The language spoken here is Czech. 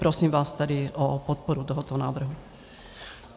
Prosím vás tedy o podporu tohoto návrhu.